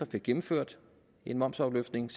fik gennemført en momsafløftning